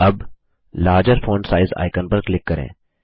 अब larger font size icon पर click करें